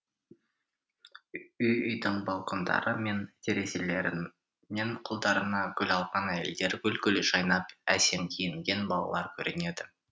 үй үйдің балкондары мен терезелерінен қолдарына гүл алған әйелдер гүл гүл жайнап әсем киінген балалар көрінеді